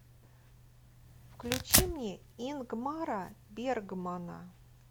включи мне ингмара бергмана